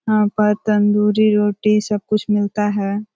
यहाँ पर तन्दूरी रोटी सब कुछ मिलता है।